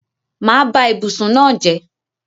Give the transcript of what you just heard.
Mà á ba ibùsùn náà jẹ́.